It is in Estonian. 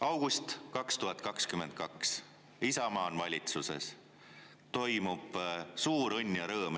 August 2022: Isamaa on valitsuses, toimub suur õnn ja rõõm.